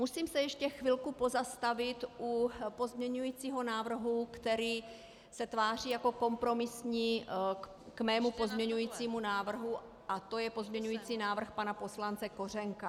Musím se ještě chvilku pozastavit u pozměňovacího návrhu, který se tváří jako kompromisní k mému pozměňovacímu návrhu, a to je pozměňovací návrh pana poslance Kořenka.